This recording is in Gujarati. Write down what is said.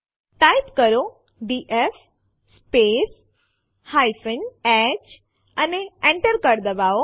ટાઈપ કરો ડીએફ સ્પેસ h અને Enter કળ દબાવો